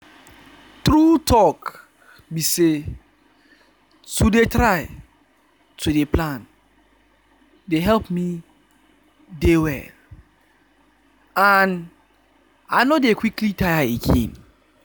true talk be say to dey try to dey plan dey help me dey well and i no dey quickly tire again